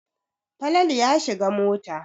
Falalu ya shiga mota.